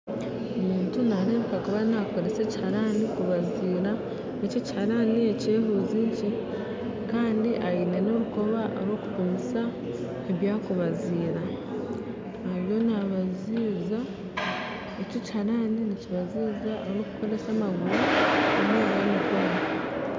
Omuntu naarebeka kuba naakoresa ekiharani kubazira ekiharani kyehuzi nkye kandi aine n'orukoba rw'okupimisa ebyakubazira ariyo nabaziza, eki ekiharani nikibaziza orukikozesa orikukozesa amaguru